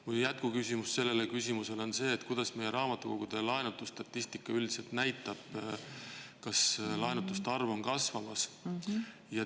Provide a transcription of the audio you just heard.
Mu jätkuküsimus selle on see, mida meie raamatukogude laenutusstatistika üldiselt näitab, kas laenutuste arv on kasvamas.